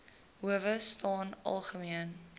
howe staan algemeen